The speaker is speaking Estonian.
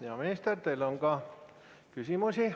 Hea minister, teile on ka küsimusi.